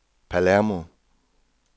Palermo